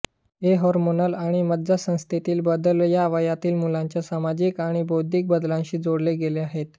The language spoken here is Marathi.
हे हार्मोनल आणि मज्जासंस्थेतील बदल या वयातील मुलांच्या सामाजिक आणि बौद्धिक बदलांशी जोडले गेले आहेत